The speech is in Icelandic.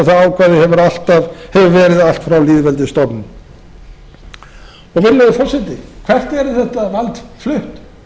eins og það ákvæði hefur verið allt frá lýðveldisstofnun virðulegi forseti hvert er þetta vald flutt